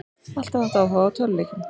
Alltaf haft áhuga á tölvuleikjum